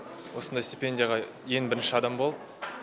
осындай стипендияға ең бірінші адам болыпі